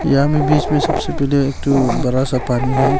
यहां में बीच में सबसे पहले एक ठो बड़ा सा पानी है।